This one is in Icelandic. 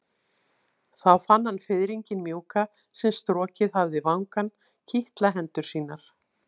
Þá fann hann fiðringinn mjúka sem strokið hafði vangann kitla hendur sínar.